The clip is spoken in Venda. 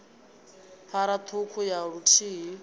phara ṱhukhu ya i luthihi